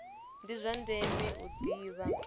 ndi zwa ndeme u ḓivha